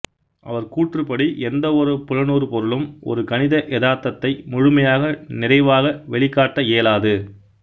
அவர் கூற்றுப்படி எந்தவொரு புலனுறு பொருளும் ஒரு கணித எதார்த்தத்தை முழுமையாக நிறைவாக வெளிக்காட்ட இயலாது